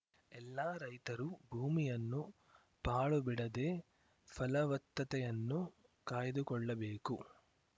ಎಲ್ಲ ರೈತರು ಭೂಮಿಯನ್ನು ಪಾಳು ಬಿಡದೇ ಫಲವತ್ತತೆಯನ್ನು ಕಾಯ್ದುಕೊಳ್ಳಬೇಕು